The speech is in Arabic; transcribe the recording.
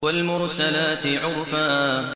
وَالْمُرْسَلَاتِ عُرْفًا